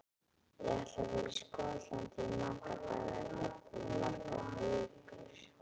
Ég ætla að vera í Skotlandi í marga daga, jafnvel í margar vikur.